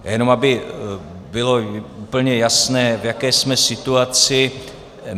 Jenom aby bylo úplně jasné, v jaké jsme situaci.